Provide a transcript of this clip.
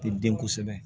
Te den kosɛbɛ